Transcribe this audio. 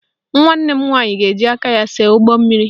Nwanne m nwaanyị ga-eji aka ya see ụgbọmmiri